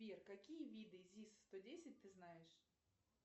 сбер какие виды зис сто десять ты знаешь